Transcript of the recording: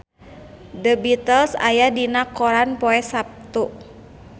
The Beatles aya dina koran poe Saptu